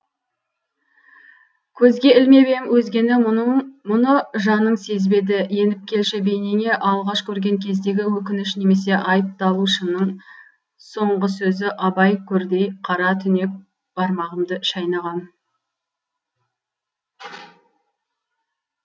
көзге ілмеп ем өзгені мұны жаның сезбеді еніп келші бейнеңе алғаш көрген кездегі өкініш немесе айыпталушының соңғы сөзі абай көрдей қара түнек бармағымды шайнағам